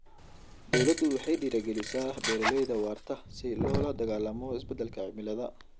Dawladdu waxay dhiirigelisaa beeralayda waarta si loola dagaallamo isbeddelka cimilada.